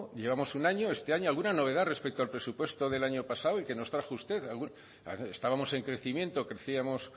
llevamos un año este año alguna novedad respecto al presupuesto del año pasado y que nos trajo usted estábamos en crecimiento crecíamos